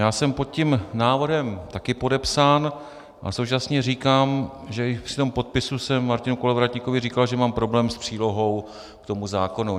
Já jsem pod tím návrhem také podepsán a současně říkám, že i při tom podpisu jsem Martinu Kolovratníkovi říkal, že mám problém s přílohou k tomu zákonu.